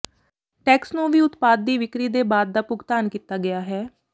tax ਨੂੰ ਵੀ ਉਤਪਾਦ ਦੀ ਵਿਕਰੀ ਦੇ ਬਾਅਦ ਦਾ ਭੁਗਤਾਨ ਕੀਤਾ ਗਿਆ ਹੈ